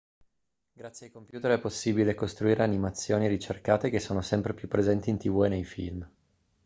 grazie ai computer è possibile costruire animazioni ricercate che sono sempre più presenti in tv e nei film